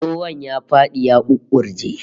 Tsohon ya fadi ya ƙuƙƙuje